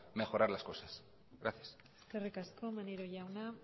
mejorar las cosas gracias eskerrik asko maneiro jauna